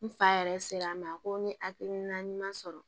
N fa yɛrɛ sera ma a ko n ye hakilina ɲuman sɔrɔ